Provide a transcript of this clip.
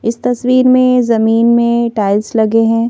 इस तस्वीर में जमीन में टाइल्स लगे हैं।